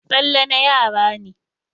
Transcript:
Tsalle na yara ne.